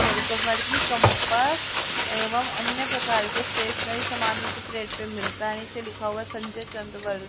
compass एवं अन्य प्रकार के स्टेशनरी सामान उचित रेट पे मिलता है नीचे लिखा हुआ संजय चंद्र व--